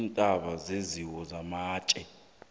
intaba yenziwe matje